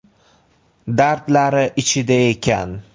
Dardlari ichida ekan.